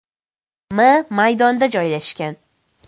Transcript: m maydonda joylashgan.